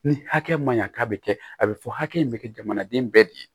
Ni hakɛ ma ɲa k'a be kɛ a be fɔ hakɛ in bɛ kɛ jamanaden bɛɛ de ye